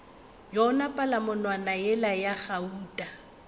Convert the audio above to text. yona palamonwana yela ya gauta